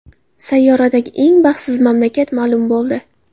Sayyoradagi eng baxtsiz mamlakat ma’lum bo‘ldi.